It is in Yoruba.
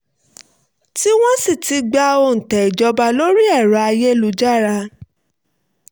tí wọ́n sì ti gba òǹtẹ̀ ìjọba lórí ẹ̀rọ ayélujára